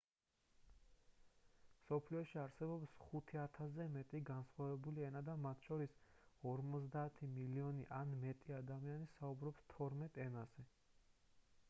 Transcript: მსოფლიოში არსებობს 5,000-ზე მეტი განსხვავებული ენა და მათ შორის 50 მილიონი ან მეტი ადამიანი საუბრობს თორმეტ ენაზე